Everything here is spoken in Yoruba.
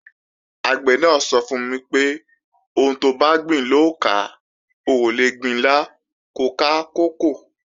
Àgbẹ̀ náà sọ fún mi pé, "Ohun tobá gbìn lò ó ká, o ò lè gbin ilá ko ká kókò"